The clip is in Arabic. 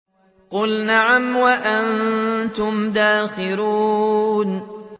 قُلْ نَعَمْ وَأَنتُمْ دَاخِرُونَ